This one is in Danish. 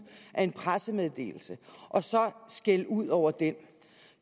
af en pressemeddelelse og så skælde ud over den